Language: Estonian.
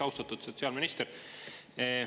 Austatud sotsiaalminister!